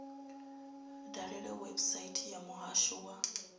dalele website ya muhasho wa